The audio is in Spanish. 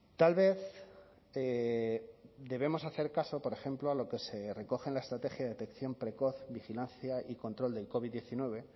tal vez debemos hacer caso por ejemplo a lo que se recoge en la estrategia de detección precoz vigilancia y control del covid diecinueve